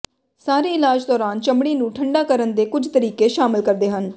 ਸਾਰੇ ਇਲਾਜ ਦੌਰਾਨ ਚਮੜੀ ਨੂੰ ਠੰਢਾ ਕਰਨ ਦੇ ਕੁਝ ਤਰੀਕੇ ਸ਼ਾਮਲ ਕਰਦੇ ਹਨ